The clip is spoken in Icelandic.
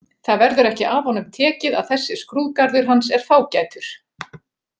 Það verður ekki af honum tekið að þessi skrúðgarður hans er fágætur.